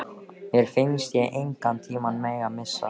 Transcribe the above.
Mér fannst ég engan tíma mega missa.